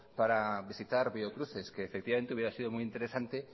para visitar biocruces que efectivamente hubiera sido muy interesante